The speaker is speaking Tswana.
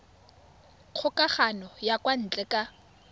kgokagano ya kwa ntle ka